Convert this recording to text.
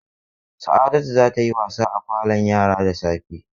Sa'adatu za ta yi wasa a falon yara da safe.